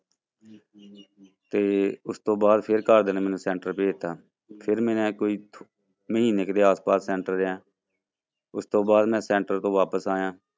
ਤੇ ਉਸ ਤੋਂ ਬਾਅਦ ਫਿਰ ਘਰਦਿਆਂ ਨੇ ਮੈਨੂੰ center ਭੇਜ ਦਿੱਤਾ, ਫਿਰ ਮੈਂ ਕੋਈ ਮਹੀਨੇ ਕੁ ਦੇ ਆਸ ਪਾਸ center ਰਿਹਾਂ ਉਸ ਤੋਂ ਬਾਅਦ ਮੈਂ center ਤੋਂ ਵਾਪਸ ਆਇਆ।